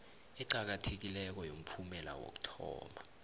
eqakathekileko yomphumela wokuthoma